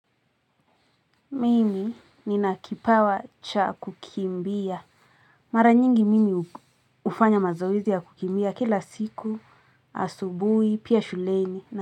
Mimi nina kipawa cha kukimbia. Mara nyingi mimi ufanya mazoezi ya kukimbia kila siku, asubui, pia shuleni.